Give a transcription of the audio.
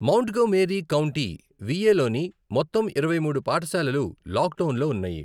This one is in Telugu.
మోంట్గోమేరీ కౌంటీ, వి ఏ లోని మొత్తం ఇరవై మూడు పాఠశాలలు లాక్డౌన్లో ఉన్నాయి.